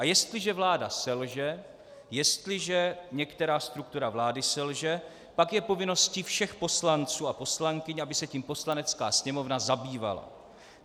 A jestliže vláda selže, jestliže některá struktura vlády selže, pak je povinností všech poslanců a poslankyň, aby se tím Poslanecká sněmovna zabývala.